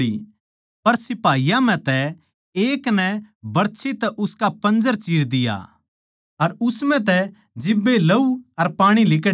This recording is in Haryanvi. पर सिपाहियाँ म्ह तै एक बरछी तै उसका पंजर चिर दिया अर उस म्ह तै जिब्बे लहू अर पाणी लिकड़या